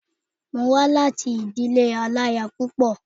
Mo wá láti ìdílé aláya púpọ̀